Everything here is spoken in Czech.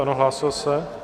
Ano, hlásil se.